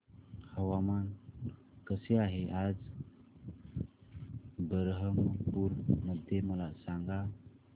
हवामान कसे आहे आज बरहमपुर मध्ये मला सांगा